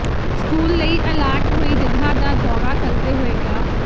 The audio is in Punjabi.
ਸਕੂਲ ਲਈ ਅਲਾਟ ਹੋਈ ਜਗ੍ਹਾ ਦਾ ਦੌਰਾ ਕਰਦੇ ਹੋਏ ਡਾ